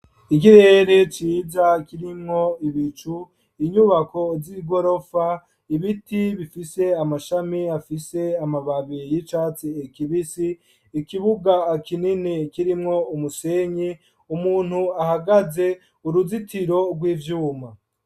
Ikirere ciza kirimwo ibicu, inyubako z'igorofa, ibiti bifise amashami afise amababi y'icatsi kibisi, ikibuga kinini kirimwo umusenyi, umuntu ahagaze, uruzitiro rw'ivyuma.